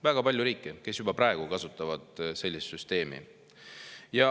Väga palju riike, kes juba praegu kasutavad sellist süsteemi.